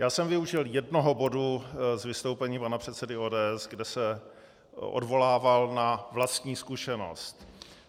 Já jsem využil jednoho bodu z vystoupení pana předsedy ODS, kde se odvolával na vlastní zkušenost.